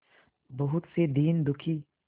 बहुत से दीन दुखी